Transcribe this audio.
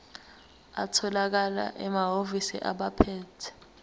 atholakala emahhovisi abaphethe